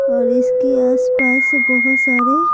और इसके आसपास बहुत सारे--